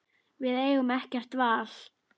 Við eigum ekkert val